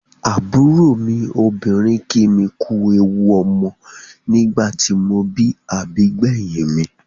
Àbúrò mi obìnrin kí mi kú ewu ọmọ nígbà tí mo bí àbígbẹ̀yìn mi.